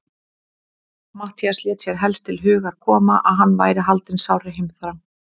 Matthías lét sér helst til hugar koma, að hann væri haldinn sárri heimþrá.